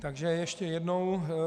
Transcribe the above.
Takže ještě jednou.